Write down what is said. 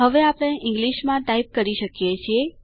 હવે આપણે ઈંગ્લીશમાં ટાઈપ કરી શકીએ છીએ